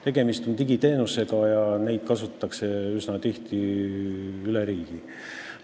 Tegemist on digiteenusega ja neid kasutatakse üsna tihti üle riigi.